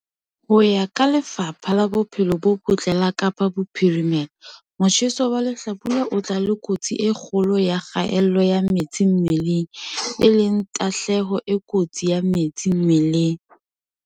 Ho ya ka Lefapha la Bophelo bo Botle la Kapa Bophirimela, motjheso wa lehlabula o tla le kotsi e kgolo ya kgaello ya metsi mmeleng, e leng tahlehelo e kotsi ya metsi mmeleng.